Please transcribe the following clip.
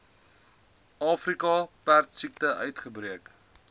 afrika perdesiekte uitgebreek